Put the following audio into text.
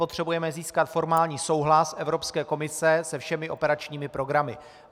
Potřebujeme získat formální souhlas Evropské komise se všemi operačními programy.